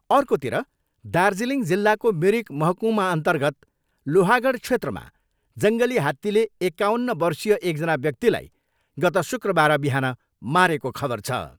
अर्कोतिर दार्जिलिङ जिल्लाको मिरिक महकुमा र्न्तगत लोहागढ क्षेत्रमा जङ्गली हात्तीले एकाउन्न वर्षीय एकजना व्याक्तिलाई गत शुक्रबार बिहान मारेको खबर छ।